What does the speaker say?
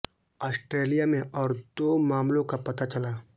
Australia में और दो मामलों का पता चला